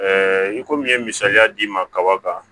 i komi n ye misaliya d'i ma kaba kan